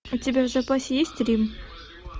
у тебя в запасе есть рим